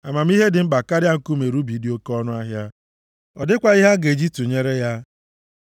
Amamihe dị mkpa karịa nkume rubi dị oke ọnụahịa. Ọ dịkwaghị ihe a ga-eji tụnyere ya.